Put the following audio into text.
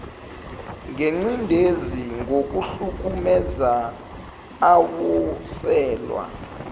ngencindezi ngokuhlukumeza awoselwa